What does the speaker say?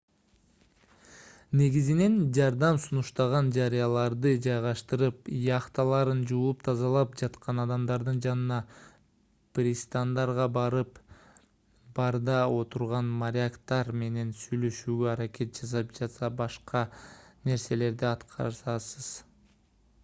негизинен жардам сунуштаган жарыяларды жайгаштырып яхталарын жууп-тазалап жаткан адамдардын жанына пристандарга барып барда отурган моряктар менен сүйлөшүүгө аракет жасап жана башка нерселерди аткарасыз